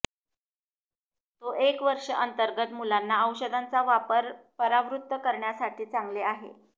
तो एक वर्ष अंतर्गत मुलांना औषधांचा वापर परावृत्त करण्यासाठी चांगले आहे